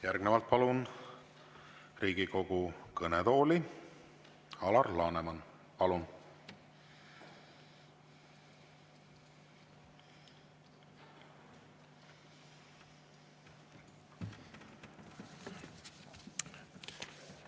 Järgnevalt palun Riigikogu kõnetooli, Alar Laneman!